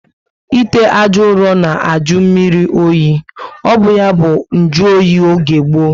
Ite ajọ uro na ajụ mmírí oyi. O bu ya bu njuoyi oge gboo